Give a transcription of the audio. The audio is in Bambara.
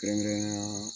Kɛrɛnkɛrɛnnenya